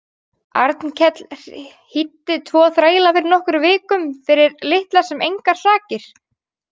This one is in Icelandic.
Arnkell hýddi tvo þræla fyrir nokkrum vikum fyrir litlar sem engar sakir.